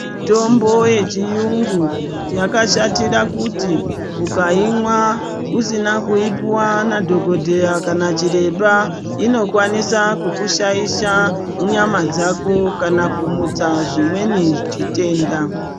Mitombo yechiyungu yakashatira kuti ukaimwa usina kupuwa nadhokodheya kana chiremba inokwanisa kukushaisha nyama dzako kana kumutsa chimweni chitenda.